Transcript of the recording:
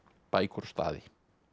bækur og staði